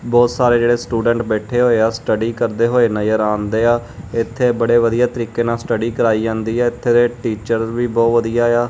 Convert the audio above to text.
ਬਹੁਤ ਸਾਰੇ ਜਿਹੜੇ ਸਟੂਡੈਂਟ ਬੈਠੇ ਹੋਏ ਆ ਸਟਡੀ ਕਰਦੇ ਹੋਏ ਨਜ਼ਰ ਆਣਦੇ ਆ ਇੱਥੇ ਬੜੇ ਵਧੀਆ ਤਰੀਕੇ ਨਾਲ ਸਟਡੀ ਕਰਾਈ ਜਾਂਦੀ ਐ ਇੱਥੇ ਦੇ ਟੀਚਰਸ ਵੀ ਬਹੁਤ ਵਧੀਆ ਏ ਆ।